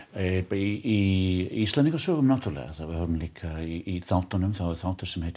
í Íslendingasögunum náttúrulega við höfum líka í þáttunum þátt sem heitir